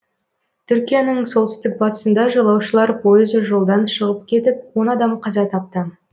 түркияның солтүстік батысында жолаушылар пойызы жолдан шығып кетіп он адам қаза тапты